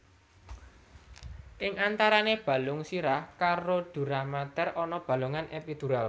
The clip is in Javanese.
Ing antarane balung sirah karo duramater ana bolongan epidural